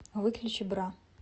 выключи бра